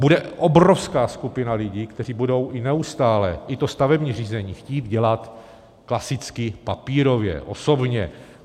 Bude obrovská skupina lidí, kteří budou i neustále i to stavební řízení chtít dělat klasicky papírově, osobně.